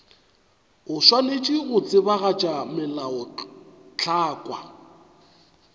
o swanetše go tsebagatša melaotlhakwa